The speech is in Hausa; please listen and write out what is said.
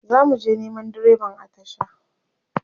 zamuje Neman direban a tasha